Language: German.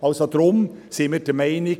Deshalb sind wir der Meinung: